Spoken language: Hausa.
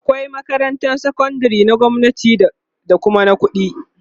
akwai makarantan sakandari ta gwamnati akwai Kuma na ƙuɗi